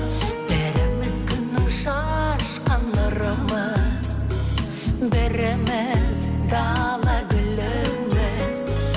біріміз күннің шашқан нұрымыз біріміз дала гүліміз